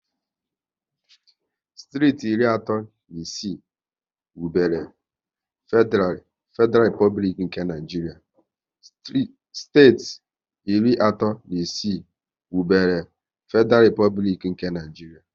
Steeti iri atọ na isii wubere Fediral Replublik nke Naijiria